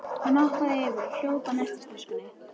Hann hoppaði yfir og hljóp að nestistöskunni.